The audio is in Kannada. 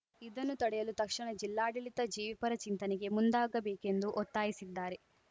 ಇದನ್ನು ತಡೆಯಲು ತಕ್ಷಣ ಜಿಲ್ಲಾಡಳಿತ ಜೀವಿಪರ ಚಿಂತನೆಗೆ ಮುಂದಾಗಬೇಕೆಂದು ಒತ್ತಾಯಿಸಿದ್ದಾರೆ